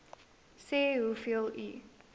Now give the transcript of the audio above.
sê hoeveel u